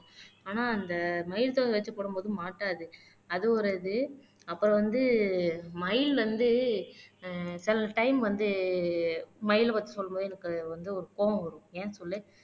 ஆனா அந்த மயில் தொகை வச்சு போடும்போது மாட்டாது அது ஒரு இது அப்புறம் வந்து மயில் வந்து ஆஹ் சில டைம் வந்து மயிலை வச்சு சொல்லும் போது எனக்கு வந்து ஒரு கோவம் வரும் ஏன் சொல்லு